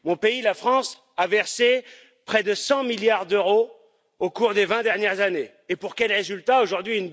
Mon pays, la France, a versé près de 100 milliards d'euros au cours des vingt dernières années, et pour quel résultat aujourd'hui?